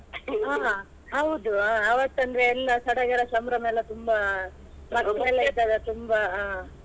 ಹ ಹೌದು ಆ ಆವತ್ತಂದ್ರೆ ಎಲ್ಲ ಸಡಗರ ಸಂಭ್ರಮ ಎಲ್ಲ ತುಂಬ ಮಕ್ಕಳೆಲ್ಲ ಇದ್ದಾಗ ತುಂಬ ಆ.